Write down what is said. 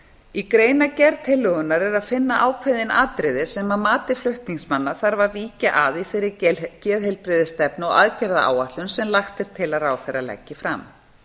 í greinargerð tillögunnar er að finna ákveðin atriði sem að mati flutningsmanna þarf að víkja að í þeirri geðheilbrigðisstefnu og aðgerðaáætlun sem lagt er til að ráðherra leggi fram